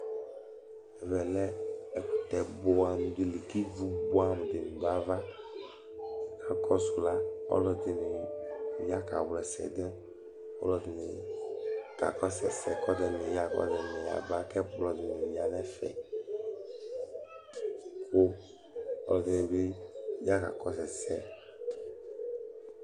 Ɛvɛ lɛ ɛkʋtɛ bʋɛ amʋ di li k'ivu buɛ amʋ dini dʋ ayava Akɔdʋ la, ɔlʋ ɛdini ya k'awla ɛsɛ dʋ, ɔlʋ ɛdini k'akɔsʋ ɛsɛ, k'ɔlʋ ɛdini yaba k'ɛkplɔ dini ya n'ɛfɛ, kʋ ɔlʋ ɛdini bi ya k'akɔsʋ ɛsɛ